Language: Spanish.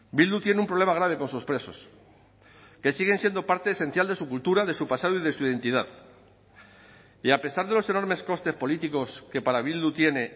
bildu tiene un problema grave con sus presos que siguen siendo parte esencial de su cultura de su pasado y de su identidad y a pesar de los enormes costes políticos que para bildu tiene